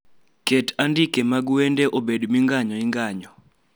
Ket andike mag wende ebed minganyo inganyo